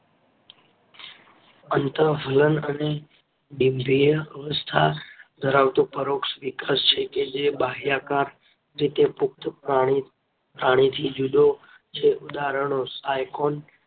અન્તઃફલન અને ડીમ્ભઈય અવસ્થા ધરાવતી પરોઢ વિકાસ છે કે જે બહ્માકાર રીતે પુખ્ત પ્રાણીથી જુદો છે. ઉદાહરણો સાયકોન